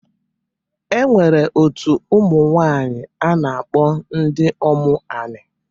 E nwere otu ụmụnwanyị a na-akpọ Ndiomu anị.